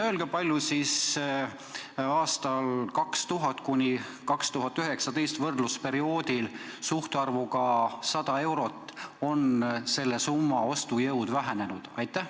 Öelge, kui palju aastail 2000–2019 on 100 euro ostujõud vähenenud?